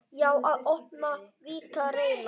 Já, að opna, víkka, reyna.